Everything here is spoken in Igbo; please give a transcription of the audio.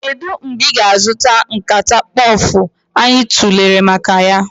Kedu mgbe ị ga-azụta nkata mkpofu anyị tụlere maka ya?